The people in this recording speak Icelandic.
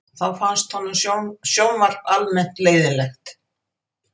Þá finnst honum sjónvarp almennt leiðinlegt